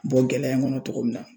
Bɔ gɛlɛya in kɔnɔ cogo min na